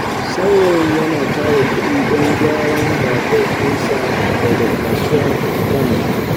Saurayin yana tara kudi don gyaran babur ɗinsa daga kasuwa a Kano.